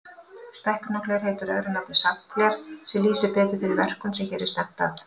Stækkunargler heitir öðru nafni safngler, sem lýsir betur þeirri verkun sem hér er stefnt að.